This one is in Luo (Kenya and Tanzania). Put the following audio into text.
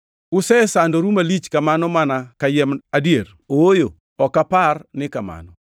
Usesandoru malich kamano mana kayiem adier, ooyo ok apar ni kamano?